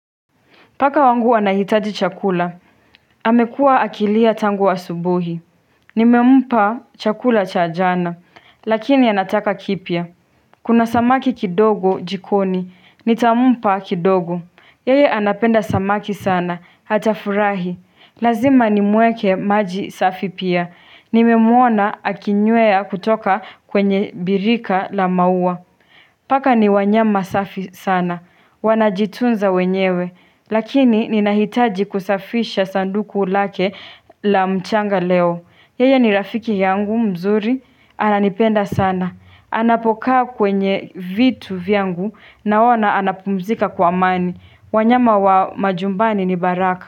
Paka wangu anahitaji chakula. Amekua akilia tangu asubuhi. Nimempa chakula cha jana. Lakini anataka kipya. Kuna samaki kidogo jikoni. Nitampa kidogo. Yeye anapenda samaki sana. Hatafurahi. Lazima nimuwekee maji safi pia. Nimemwona akinywea kutoka kwenye birika la maua. Paka ni wanyama safi sana. Wanajitunza wenyewe. Lakini ninahitaji kusafisha sanduku lake la mchanga leo Yeye ni rafiki yangu mzuri, ananipenda sana Anapokaa kwenye vitu vyangu naona anapumzika kwa amani wanyama wa majumbani ni baraka.